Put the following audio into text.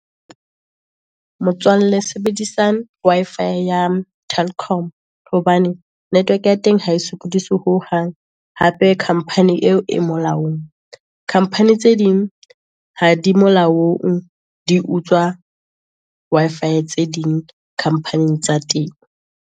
Motswalle sebedisa Wi-Fi ya Telkom hobane, network ya teng ha e sokodise ho hang, hape company eo e molaong. Company tse ding ha di molaong, di utswa Wi-Fi tse ding, company-ing tsa teng.